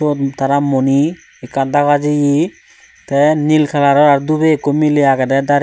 sot tara moni ekka daga jiye te nil kalaror r dube ekko miley agede darei.